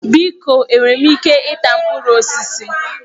Biko enwere m ike ịta mkpụrụ osisi?